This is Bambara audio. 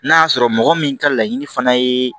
N'a y'a sɔrɔ mɔgɔ min ka laɲini fana ye